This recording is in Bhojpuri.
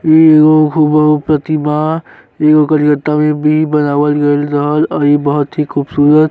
ई हूबहू प्रतिमा। बी बनावल गईल रहल अभी बहोत ही खूबसूरत --